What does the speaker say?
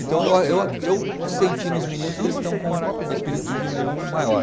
Então, eu a, eu a, eu senti nos meninos que eles estão com, com espírito de união maior.